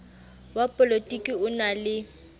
wa polotiki o na le